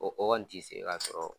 O kɔni tɛ se ka sɔrɔ.